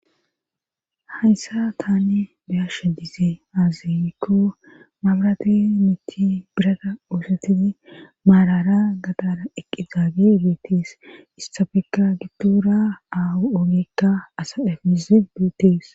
Hayssa taani beyasha diizee aaziykko maabrati mithi birada oosatiti maarara gadana eqizaagi biitis istafeka gibtura aa7oolikka asa efiziduties.